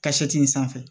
Ka in sanfɛ